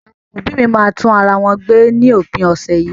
Àwọn òbí́ mi máa tún ara wọn gbé ní òpin ọ̀sẹ̀ yìí.